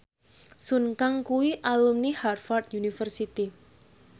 Sun Kang kuwi alumni Harvard university